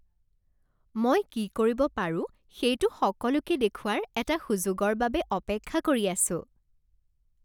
মই কি কৰিব পাৰো সেইটো সকলোকে দেখুওৱাৰ এটা সুযোগৰ বাবে অপেক্ষা কৰি আছোঁ।